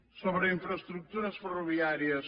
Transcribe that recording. sobre infraestructures ferroviàries